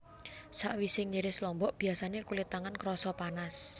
Sawisé ngiris lombok biyasané kulit tangan krasa panas